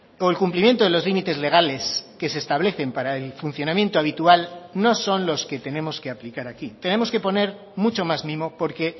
o el cumplimiento de los límites legales que se establecen para el funcionamiento habitual no son los que tenemos que aplicar aquí tenemos que poner mucho más mimo porque